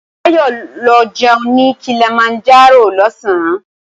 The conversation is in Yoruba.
Báyọ̀ ń lọ jẹun ní Kilimanjaro lọ̀sán